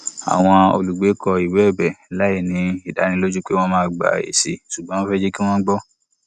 àwọn olùgbé kọ ìwé ẹbẹ láìní ìdánilójú pé wón máa gba èsì ṣùgbọn wọn fẹ kí wón gbọ